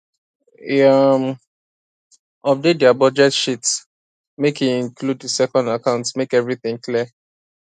e um update their budget sheetmake e include the second account make everything clear